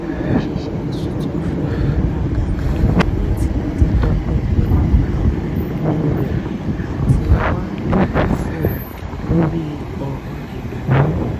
òṣìṣẹ́ tuntun fi ìháragàgà lo mint láti tọpinpin àwọn ìnáwó rẹ̀ àti wà lójúfò lórí ọ̀ràn ìnáwó